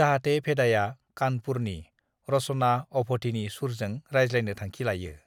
"जाहाते भेदाया कानपुरनि, रश'ना अभधिनि सुरजों रायज्लायनो थांखि लायो ।"